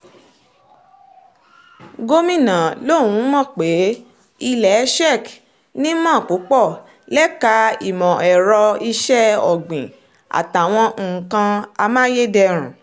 gomina lòun mọ̀ pé ilẹ̀ czech nímọ̀ púpọ̀ lẹ́ka ìmọ̀ ẹ̀rọ iṣẹ́ ọ̀gbìn àtàwọn nǹkan amáyédẹrùn